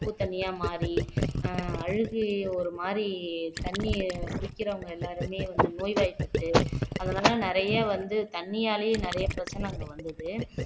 உப்பு தண்ணியா மாறி அஹ் அழுகை ஒரு மாதிரி தண்ணியை குடிக்கிறவங்க எல்லாருமே வந்து நோய்வாய்ப்பட்டு அதனால நிறைய வந்து தண்ணியாலேயே நிறைய பிரச்சனை அங்க வந்தது